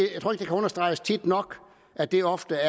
kan understreges tit nok at det ofte